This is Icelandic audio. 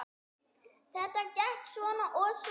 Þetta gekk svona og svona.